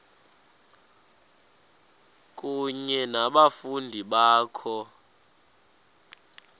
kunye nabafundi bakho